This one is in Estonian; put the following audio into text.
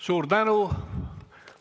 Suur tänu!